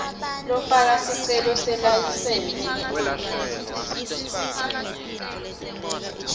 lofaka sicelo selayisensi